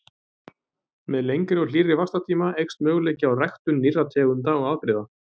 Með lengri og hlýrri vaxtartíma eykst möguleiki á ræktun nýrra tegunda og afbrigða.